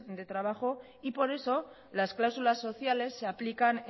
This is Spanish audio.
de trabajo y por eso las cláusulas sociales se aplican